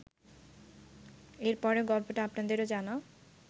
এর পরের গল্পটা আপনাদেরও জানা